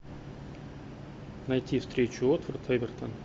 найти встречу уотфорд эвертон